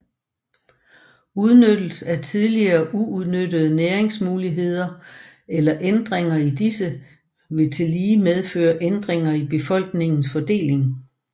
Udnyttelse af tidligere uudnyttede næringsmuligheder eller ændringer i disse vil tillige medføre ændringer i befolkningens fordeling